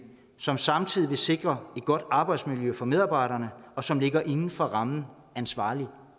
som samtidig vil sikre et godt arbejdsmiljø for medarbejderne og som ligger indenfor rammerne af en ansvarlig